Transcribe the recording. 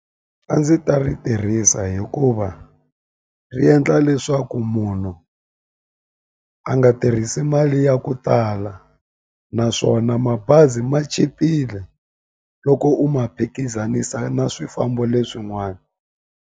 A ndzi ta ri tirhisa hikuva ri endla leswaku munhu a nga tirhisi mali ya ku tala naswona mabazi ma chipile loko u ma phikizanisa na swifambo leswin'wana.